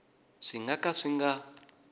swi nga ka swi nga